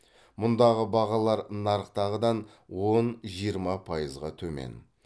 мұндағы бағалар нарықтағыдан он жиырма пайызға төмен